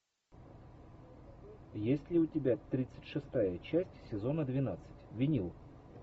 есть ли у тебя тридцать шестая часть сезона двенадцать винил